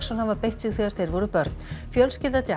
hafa beitt sig þegar þeir voru börn fjölskylda